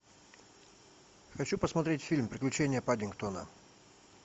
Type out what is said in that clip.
хочу посмотреть фильм приключения паддингтона